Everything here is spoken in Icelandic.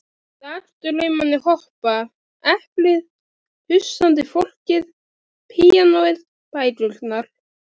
Dagdraumarnir hopa, eplið, hugsandi fólkið, píanóið, bækurnar.